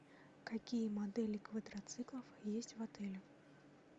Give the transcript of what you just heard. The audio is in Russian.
какие модели квадроциклов есть в отеле